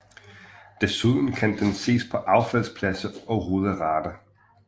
Desuden kan den ses på affaldspladser og ruderater